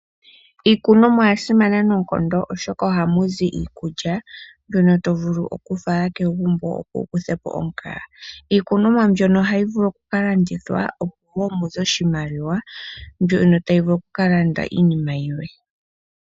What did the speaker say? Iikunomwa oya simana noonkondo oshoka ohamu zi iikulya mbyono to vulu oku fala kegumbo opo wu kuthe po omukaga. Iikunomwa mbyono ohayi vulu oku kalandithwa opo woo muze iimaliwa, mbyono tayi vulu oku ka landa iinima yimwe.